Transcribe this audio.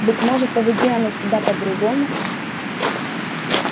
быть может поведи она себя по-другому